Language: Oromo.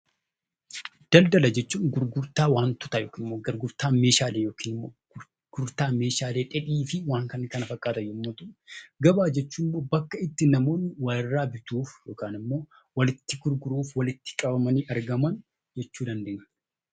Daldaala jechuun gurgurtaa wantoota yookiin gurgurtaa meeshaalee dheedhii jechuu yoo ta'u, gabaa jechuun immoo bakka namoonni walirraa bituu fi walitti gurguruu bakka tokkotti walitti qabaman jechuudha.